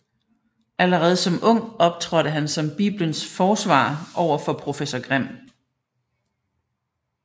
Allerede som ung optrådte han som Biblens forsvarer over for professor Grimm